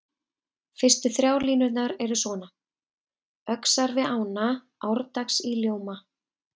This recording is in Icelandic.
Fyrstu þrjár línurnar eru svona: Öxar við ána árdags í ljóma